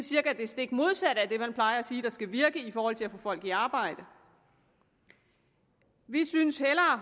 cirka det stik modsatte af det man plejer at sige skal virke i forhold til at få folk i arbejde vi synes at